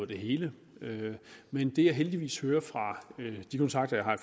det hele men det jeg heldigvis hører fra de kontakter jeg har